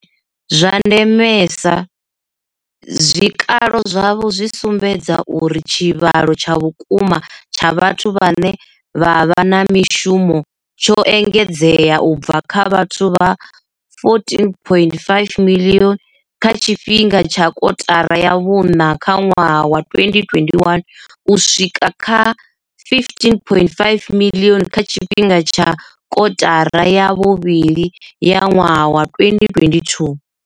Zwa ndemesa, zwikalo zwavho zwi sumbedza uri tshivhalo tsha vhukuma tsha vhathu vhane vha vha na mishumo tsho engedzea u bva kha vhathu vha 14.5 miḽioni kha tshifhinga tsha kotara ya vhuṋa ya ṅwaha wa 2021 u swika kha R15.5 miḽioni kha tshifhinga tsha kotara ya vhuvhili ya ṅwaha wa 2022.